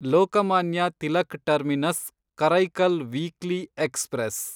Lokmanya Tilak terminus Karaikal weekly express